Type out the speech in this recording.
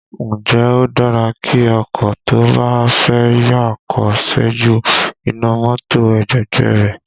Ǹjẹ́ ó dára kí ọkọ tó bá fẹ́ yà kó ṣẹ́jú iná mọ́tò ẹ̀gbẹ̀gbẹ́ ẹ rẹ̀?